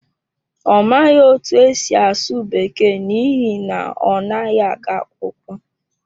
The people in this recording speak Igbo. Ọ maghị otú e si asụ Bekee n’ihi na ọ naghị aga akwụkwọ.